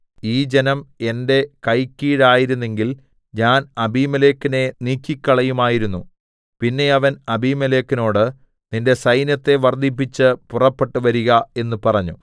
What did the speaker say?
ഈ ജനം എന്റെ കൈക്കീഴായിരുന്നെങ്കിൽ ഞാൻ അബീമേലെക്കിനെ നീക്കിക്കളകയുമായിരുന്നു പിന്നെ അവൻ അബീമേലെക്കിനോട് നിന്റെ സൈന്യത്തെ വർദ്ധിപ്പിച്ച് പുറപ്പെട്ട് വരിക എന്ന് പറഞ്ഞു